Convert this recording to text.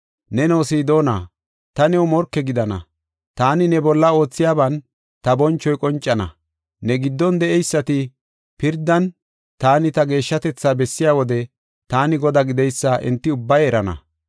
Neno, Sidoona, ta new morke gidana. Taani ne bolla oothiyaban ta bonchoy qoncana. Ne giddon de7eysati pirdan taani ta geeshshatetha bessiya wode, taani Godaa gideysa enti ubbay erana.